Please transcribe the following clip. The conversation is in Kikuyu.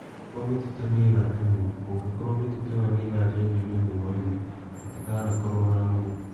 Angĩkorũo mĩtitũ nĩ ĩgatemwo. Kũngĩkorũo mĩtitũ ĩo nĩ ĩgaacenjio nĩ ũndũ wa ũrĩmi, gũtingakorũo na nũgũ.